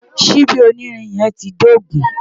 Ṣíbí onírin yẹn ti dógùn-ún.